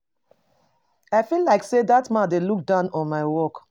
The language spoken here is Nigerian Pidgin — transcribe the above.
I feel like say dat Man dey look down on my work